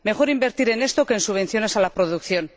Mejor invertir en esto que en subvenciones a la producción.